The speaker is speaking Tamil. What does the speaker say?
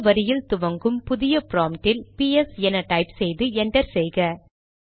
புதிய வரியில் துவங்கும் புதிய ப்ராம்ப்ட் இல் பிஎஸ் என டைப் செய்து என்டர் செய்க